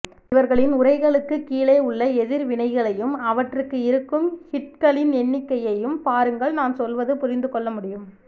இவர்களின் உரைகளுக்குக்கீழே உள்ள எதிர்வினைகளையும் அவற்றுக்கு இருக்கும் ஹிட்களின் எண்ணிக்கையையும் பாருங்கள் நான் சொல்வதுபுரிந்துகொள்ளமுடியும்